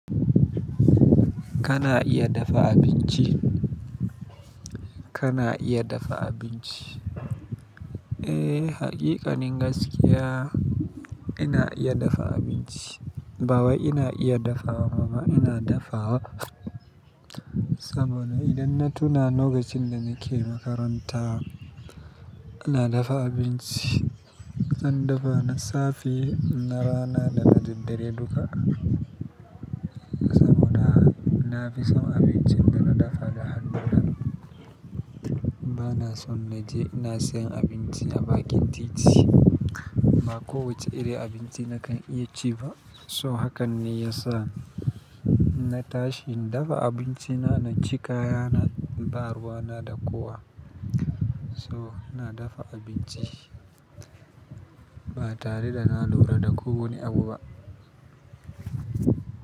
Kana iya dafa abinci? Kana iya dafa abinci? Eh, haqiƙanin gaskiya ina iya dafa abinci. Bawai ina iya dafawa ba ina dafawa. Saboda idan na tuna lokacin da nake makaranta, ina dafa abinci. An dafa na safe, na rana da na daddare duka. Saboda na fi son abincin dana dafa da hannuna. Bana son na je ina siyan abinci a bakin titi. Ba kowacce irin abinci na kan iya ci ba. So hakan ne ya sa inna tashi na dafa abinci na, na ci kaya na, baruwana da kowa. So ina dafa abinci. Ba tare da na lura da ku wani abu ba.